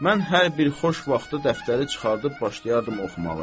Mən hər bir xoş vaxtı dəftəri çıxarıb başlayardım oxumağı.